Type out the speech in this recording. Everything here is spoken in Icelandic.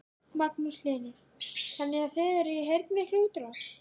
Magnús Hlynur: Þannig að þið eruð í heilmikilli útrás?